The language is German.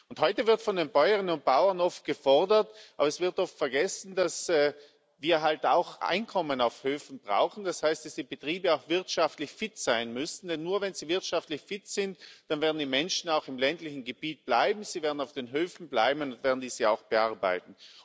Und heute wird von den Bäuerinnen und Bauern oft gefordert, aber es wird oft vergessen, dass wir halt auch Einkommen auf Höfen brauchen, das heißt, dass die Betriebe auch wirtschaftlich fit sein müssen. Denn nur, wenn sie wirtschaftlich fit sind, dann werden die Menschen auch im ländlichen Gebiet bleiben, sie werden auf den Höfen bleiben und werden diese auch bearbeiten.